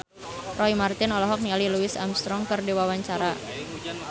Roy Marten olohok ningali Louis Armstrong keur diwawancara